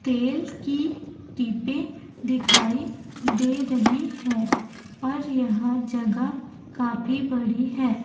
तेल की टिब्बे दिखाई दे रही है और यह जगह काफी बड़ी है।